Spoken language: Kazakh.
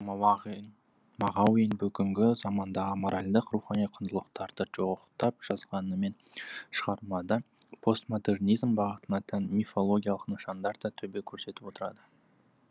мағауин бүгінгі замандағы моральдық рухани құндылықтарды жоқтап жазғанымен шығармада постмодернизм бағытына тән мифологиялық нышандар да төбе көрсетіп отырады